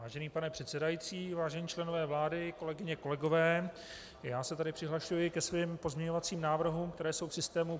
Vážený pane předsedající, vážení členové vlády, kolegyně, kolegové, já se tedy přihlašuji ke svým pozměňovacím návrhům, které jsou v systému.